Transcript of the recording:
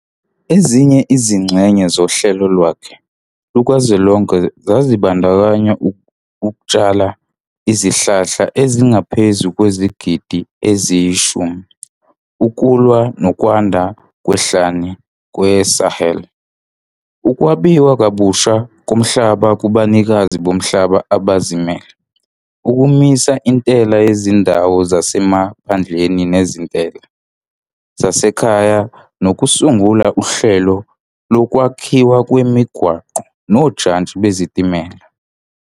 Ezinye izingxenye zohlelo lwakhe lukazwelonke zazibandakanya ukutshala izihlahla ezingaphezu kwezigidi eziyi-10 ukulwa nokwanda kwehlane kweSahel, ukwabiwa kabusha komhlaba kubanikazi bomhlaba abazimele, ukumisa intela yezindawo zasemaphandleni nezintela zasekhaya nokusungula uhlelo lokwakhiwa kwemigwaqo nojantshi bezitimela.